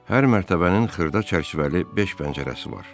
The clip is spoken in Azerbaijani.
Hər mərtəbənin xırda çərçivəli beş pəncərəsi var.